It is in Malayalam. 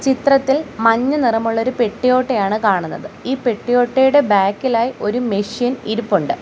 ചിത്രത്തിൽ മഞ്ഞ നിറമുള്ള ഒരു പെട്ടി ഓട്ടോയാണ് കാണുന്നത് ഈ പെട്ടി ഓട്ടോയുടെ ബാക്കിലായി ഒരു മെഷീൻ ഇരിപ്പുണ്ട്.